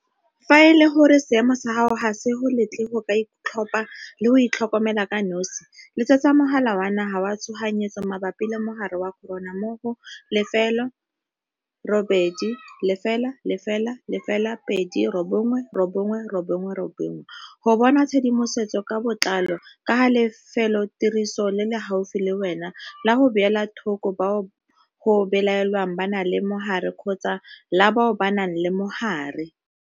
Fa e le gore seemo sa gago ga se go letle go ka itlhopha le go itlhokomela ka nosi, letsetsa Mogala wa Naga wa Tshoganyetso Mabapi le Mogare wa Corona mo go 0800 029 999 go bona tshedimosetso ka botlalo ka ga lefelotiriso le le gaufi le wena la go beela thoko bao go belaelwang ba na le mogare kgotsa la bao ba nang le mogare.